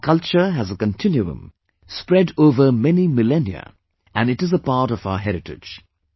Our culture has a continuum spread over many millennia and it is a part of our heritage